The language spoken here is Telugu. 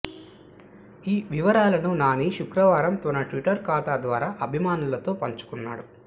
ఈ వివరాలను నాని శుక్రవారం తన ట్విట్టర్ ఖాతా ద్వారా అభిమానులతో పంచుకున్నాడు